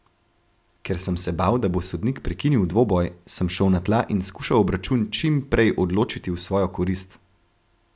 Ker sem se bal, da bo sodnik prekinil dvoboj, sem šel na tla in skušal obračun čim prej odločiti v svojo korist.